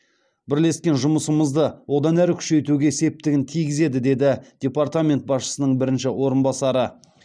бірлескен жұмысымызды одан әрі күшейтуге септігін тигізеді деді департамент басшысының бірінші орынбасары